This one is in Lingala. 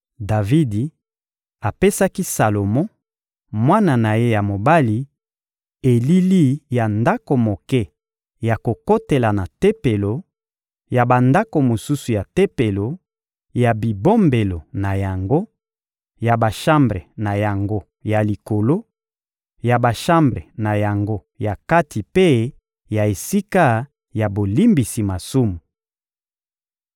Davidi apesaki Salomo, mwana na ye ya mobali, elili ya ndako moke ya kokotela na Tempelo, ya bandako mosusu ya Tempelo, ya bibombelo na yango, ya bashambre na yango ya likolo, ya bashambre na yango ya kati mpe ya esika ya bolimbisi masumu.